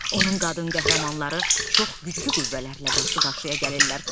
Onun qadın qəhrəmanları çox güclü qüvvələrlə qarşı-qarşıya gəlirlər.